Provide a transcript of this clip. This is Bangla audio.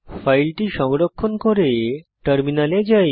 ফাইলটি সংরক্ষণ করে টার্মিনালে যাই